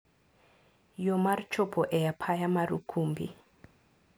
Yoo mar chopo e apaya mar Ukumbi.